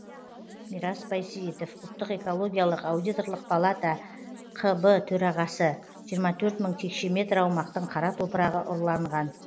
мирас байсейітов ұлттық экологиялық аудиторлық палата қб төрағасы жиырма төрт мың текше метр аумақтың қара топырағы ұрланған